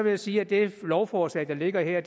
jeg sige at det lovforslag der ligger her